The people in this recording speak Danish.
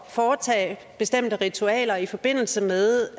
foretage bestemte ritualer i forbindelse med